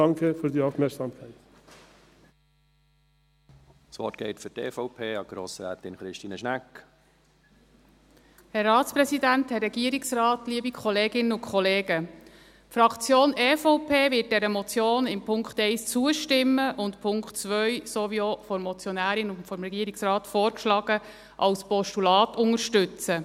Die Fraktion EVP wird dieser Motion in Punkt 1 zustimmen und den Punkt 2, so wie auch von der Motionärin und vom Regierungsrat vorgeschlagen, als Postulat unterstützen.